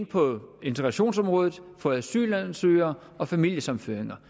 på integrationsområdet for asylansøgere og familiesammenføringer